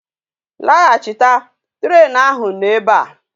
Lahachita! train ahu no ebea!